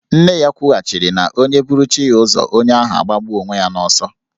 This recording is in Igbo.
Nne ya kwughachịrị na onye buru chi ya ụzọ, onye ahụ agbagbuo onwe ya n'ọsọ.